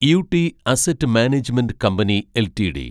UT asset management company LTD